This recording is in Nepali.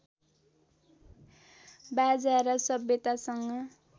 बाजा र सभ्यतासँग